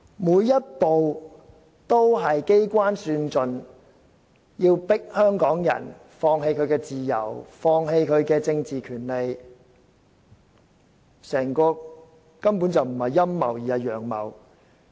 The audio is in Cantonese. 每一步也是機關算盡，目的是迫香港人放棄自由、放棄政治權利，整個根本不是陰謀，而是"陽謀"。